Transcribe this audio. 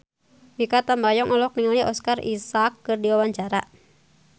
Mikha Tambayong olohok ningali Oscar Isaac keur diwawancara